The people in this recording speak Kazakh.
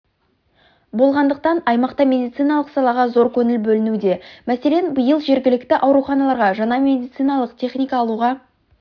болғандықтан аймақта медициналық салаға зор көңіл бөлінуде мәселен биыл жергілікті ауруханаларға жаңа медициналық техника алуға